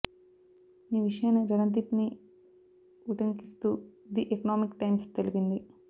ఈ విషయాన్నీ రణదీప్ ని ఉటంకిస్తూ ది ఎకనామిక్ టైమ్స్ తెలిపింది